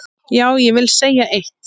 Já, ég vil segja eitt!